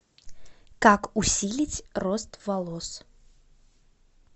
как усилить рост волос